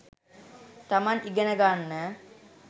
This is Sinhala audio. තමන් ඉගෙන ගන්න